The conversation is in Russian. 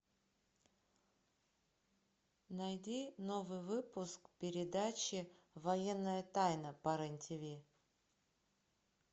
найди новый выпуск передачи военная тайна по рен тв